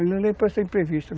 Ele imprevisto.